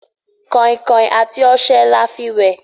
kainkain àti ọṣẹ l'afi wẹ